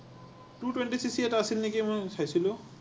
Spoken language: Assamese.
CC two twenty এটা আছিল নেকি মই চাইছিলো।